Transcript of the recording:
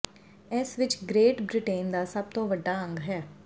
ਇਸ ਵਿਚ Great Britain ਦਾ ਸਭ ਤੋਂ ਵੱਡਾ ਅੰਗ ਹੈ